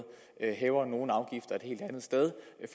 hæver nogle afgifter et helt andet sted